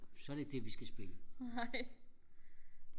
så er det ikke det vi skal spille